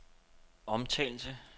omtalte